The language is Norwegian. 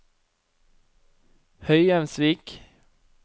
Høyheimsvik